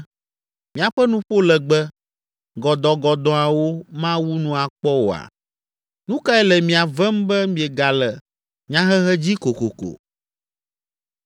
Miaƒe nuƒo legbe, gɔdɔ̃gɔdɔ̃awo mawu nu akpɔ oa? Nu kae le mia vem be miegale nyahehe dzi kokoko?